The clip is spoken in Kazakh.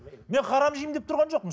мен харам жеймін деп тұрған жоқпын